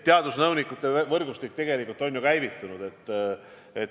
Teadusnõunike võrgustik on tegelikult käivitunud.